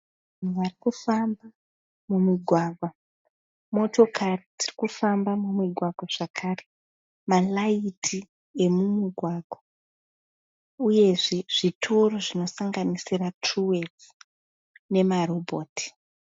Vanhu varikufamba mumugwagwa motokari dzirikufamba mumugwagwa zvakare malights emumugwagwa uyezve zvitoro zvinosanganisira Truweth nemarobhoti.